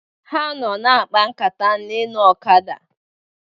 Ha nọ na-akpa nkata mgbe ha nọ na ọkada